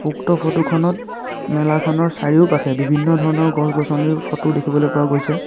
উক্ত ফটো খনত মেলাখনৰ চাৰিওপাশে বিভিন্ন ধৰণৰ গছ-গছনিৰ ফটো দেখিবলৈ পোৱা গৈছে।